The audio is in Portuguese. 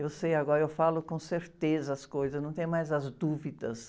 Eu sei agora, eu falo com certeza as coisas, não tenho mais as dúvidas.